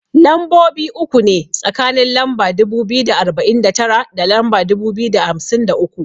Lambobi uku ne tsakanin lamba dubu biyu da arba'in da tara da lamba dubu biyu da hamsin da uku.